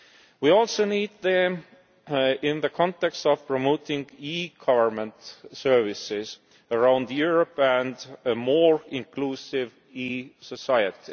We also need them in the context of promoting e-government services around Europe and a more inclusive e society.